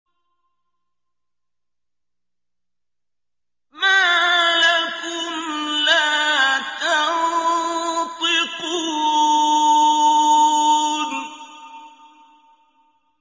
مَا لَكُمْ لَا تَنطِقُونَ